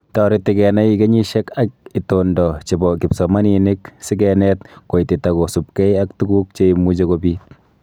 Toreti kenai kenyisiek ak itondo chebo kipsomaninik si keneet koitita kosubkei ak tuguk che imuchi kobiit